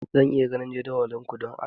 Zan iya ganin jadawalin ku, don Allah?